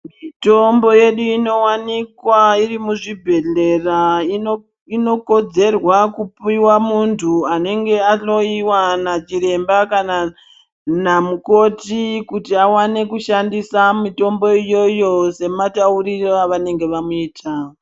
Mutombo yedu inowanikwa iri muzvibhehlera inokodzerwa kupihwa munthu anenge ahloiwa nachiremba kana mukoti kuti awane kushandisa mutombo iyoyo semataurire avanenge vamuita.